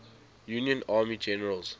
union army generals